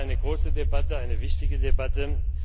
Das war eine große Debatte, eine wichtige Debatte!